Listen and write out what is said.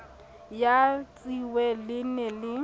ya tshitwe le ne le